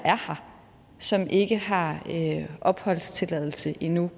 her som ikke har opholdstilladelse endnu